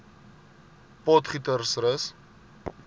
potgietersrus